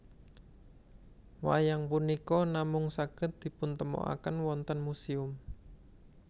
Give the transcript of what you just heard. Wayang punika namung saged dipuntemokaken wonten muséum